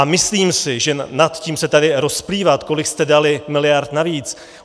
A myslím si, že nad tím se tady rozplývat, kolik jste dali miliard navíc...